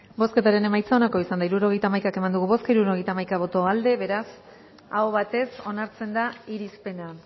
bozketaren emaitza onako izan da hirurogeita hamaika eman dugu bozka hirurogeita hamaika boto aldekoa beraz aho batez onartzen da irizpena